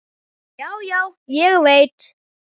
Já, já, ég veit.